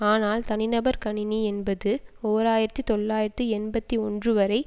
ஆனால் தனி நபர் கணினி என்பது ஓர் ஆயிரத்தி தொள்ளாயிரத்தி எண்பத்தி ஒன்று வரை